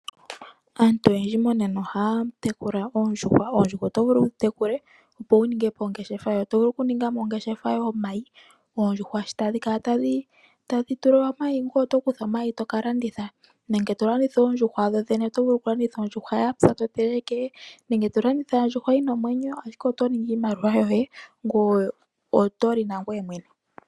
Aantu oyendji monena oha ya tekula oondjuhwa, nomo kutekula oondjuhwa oto vulu oku ningamo ongeshefa yoye ngashi oku landitha omayi nenge oondjuhwa dho dhene todhi landitha dhapya nenge dhina omwenyo wimonene oshimaliwa shoye oshowo okulya megumbo.